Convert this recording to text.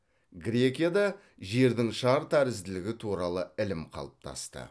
грекияда жердің шар тәрізділігі туралы ілім қалыптасты